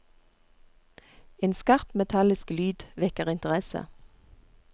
En skarp, metallisk lyd vekker interesse.